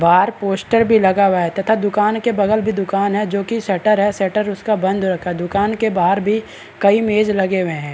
बाहर पोस्टर भी लगा हुआ है तथा दुकान के बगल भी दुकान है जोकि शटर है शटर उसका बंद है दुकान के बाहर भी कई मेज लगे हुए हैं ।